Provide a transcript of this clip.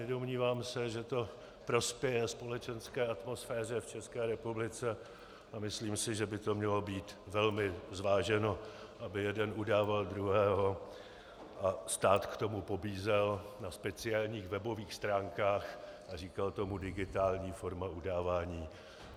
Nedomnívám se, že to prospěje společenské atmosféře v České republice, a myslím si, že by to mělo být velmi zváženo, aby jeden udával druhého a stát k tomu pobízel na speciálních webových stránkách a říkal tomu digitální forma udávání.